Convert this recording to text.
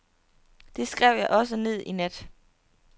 Det skrev jeg også ned i nat.